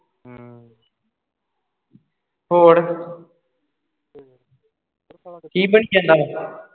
ਹੋਰ ਕੀ ਬਣੀ ਜਾਂਦਾ ਵਾਂ